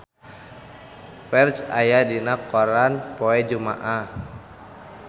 Ferdge aya dina koran poe Jumaah